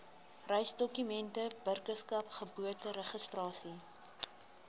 reisdokumente burgerskap geboorteregistrasie